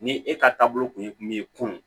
Ni e ka taabolo kun ye mun ye kunun